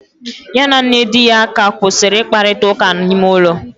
Ya na nne di ya ka kwusiri ikparita uka na ime ulo